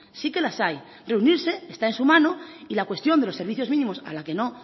sí que las hay reunirse esta en su mano y la cuestión de los servicios mínimos a la que no